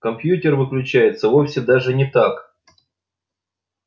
компьютер выключается вовсе даже не так